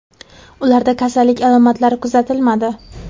Ularda kasallik alomatlari kuzatilmadi.